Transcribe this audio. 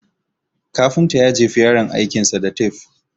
Kafintan ya jefi yaron aikin sa da tafe